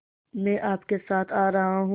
मैं आपके साथ आ रहा हूँ